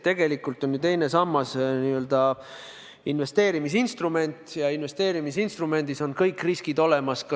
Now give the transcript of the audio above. Tegelikult on ju teine sammas investeerimisinstrument ja investeerimisinstrumendi puhul on kõik riskid olemas.